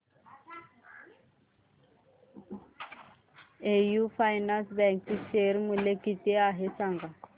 AU finance bank चे share मूल्य किती आहे सांगा